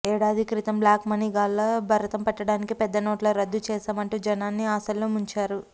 ఏడాది క్రితం black money గాళ్ల భరతం పట్టడానికే పెద్ద నోట్ల రద్దు చేశామంటూ జనాన్ని ఆశల్లో ముంచారు